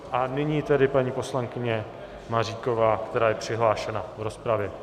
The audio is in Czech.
A nyní tedy paní poslankyně Maříková, která je přihlášená v rozpravě.